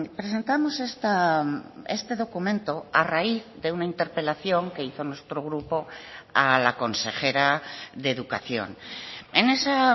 presentamos este documento a raíz de una interpelación que hizo nuestro grupo a la consejera de educación en esa